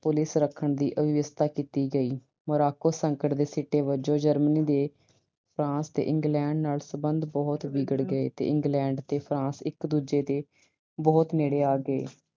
Police ਰੱਖਣ ਦੀ ਵਿਵਸਥਾ ਕੀਤੀ ਗਈ। Morocco ਸੰਕਟ ਦੇ ਸਿੱਟੇ ਵਜੋਂ Germany ਦੇ France ਤੇ England ਨਾਲ ਸਬੰਧ ਬਹੁਤ ਵਿਗੜ ਗਏ ਤੇ England ਤੇ France ਇਕ ਦੂਜੇ ਦੇ ਬਹੁਤ ਨੇੜੇ ਆ ਗਏ।